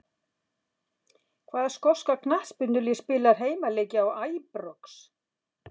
Hvaða skoska knattspyrnulið spilar heimaleiki á Æbrox?